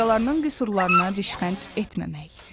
Başqalarının qüsurlarına rişxənd etməmək.